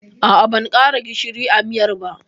A'a, ban ƙara gishiri a miyar ba.